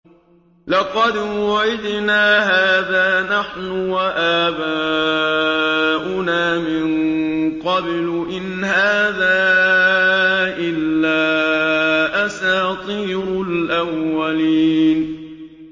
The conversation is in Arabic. لَقَدْ وُعِدْنَا هَٰذَا نَحْنُ وَآبَاؤُنَا مِن قَبْلُ إِنْ هَٰذَا إِلَّا أَسَاطِيرُ الْأَوَّلِينَ